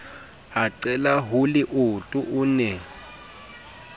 a qela holeoto o ne